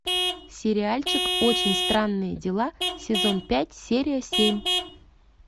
сериальчик очень странные дела сезон пять серия семь